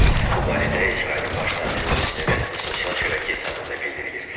Bu barədə İsrailin baş naziri ofisinin rəsmi sosial şəbəkə hesabında bildirilir.